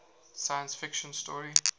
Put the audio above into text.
science fiction story